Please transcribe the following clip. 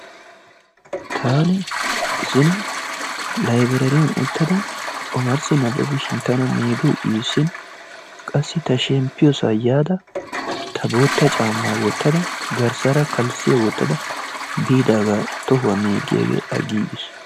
Taani zino laybiraariyan ttada omarssi nababishin tana meegoy issin qassi ta shempiyosaa yada ta boota caamaa wotada garssaara kalssiya wotada biidaagaa tohuwa megiyaage agiigis.